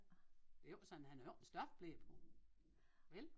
Det jo ikke sådan han har jo ikke en stofble på vel